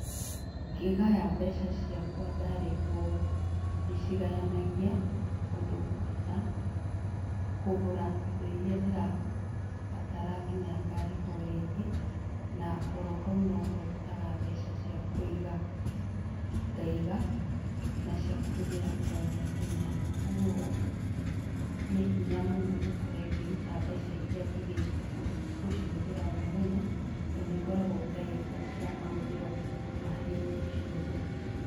Ngĩgaya mbeca ciakwa ndarĩhwo ũũ , ndĩcigayanagia ũndũ ngũhota kũgũra indo iria ndĩrabatara nginya ngarĩhwo rĩngĩ na orohau nohondutaga mbeca ciakũiga. Ngaiga na ciakũhũthĩra o mũthenya. ũguo nĩhinya mũno ũkore ngĩruta mbeca iria njigĩte gũcihũthĩra o mũthenya, tondũ nĩngoragwo njigĩte cia mahũthĩro ma hĩndĩ ciothe.